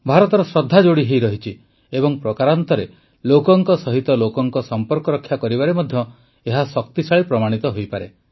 ଭାରତର ଶ୍ରଦ୍ଧା ଯୋଡ଼ିହୋଇ ରହିଛି ଏବଂ ପ୍ରକାରାନ୍ତରେ ଲୋକଙ୍କ ସହିତ ଲୋକଙ୍କ ସମ୍ପର୍କ ରକ୍ଷା କରିବାରେ ମଧ୍ୟ ଏହା ଶକ୍ତିଶାଳୀ ପ୍ରମାଣିତ ହୋଇପାରେ